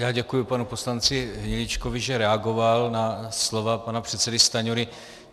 Já děkuji panu poslanci Hniličkovi, že reagoval na slova pana předsedy Stanjury.